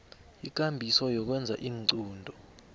ikambiso yokwenza iinqunto